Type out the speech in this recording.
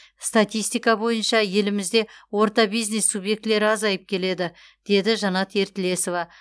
статистика бойынша елімізде орта бизнес субъектілері азайып келеді деді жанат ертілесова